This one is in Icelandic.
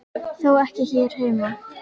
Þó ekki hér heima.